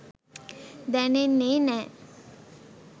දැනෙන්නේ නෑ